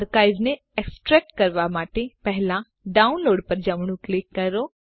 અર્કાઇવને extract કરવાં માટે પહેલાં ડાઉનલોડ પર જમણું ક્લિક કરો